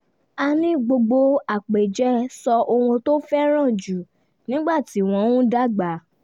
a ní gbogbo àpèjẹ sọ ohun tó fẹ́ràn jù nígbà tí wọ́n ń dàgbà